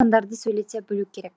яғни сандарды сөйлете білу керек